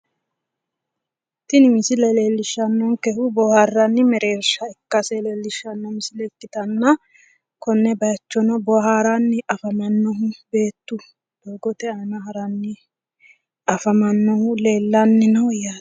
Tini misile leellishannonkehu boohaarranni mereersha ikkase leellishshanno misile ikkitanna konne bayiichono booharanni afamannohu beettu doogote aana haranni afamannohu leellanni no yaate.